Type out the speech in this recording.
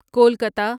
Kolkata